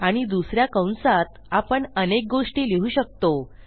आणि दुस या कंसात आपण अनेक गोष्टी लिहू शकतो